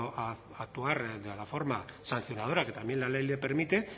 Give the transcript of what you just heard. a actuar de una forma sancionadora que también la ley le permite